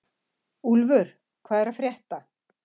Úlfur, hvað er að frétta?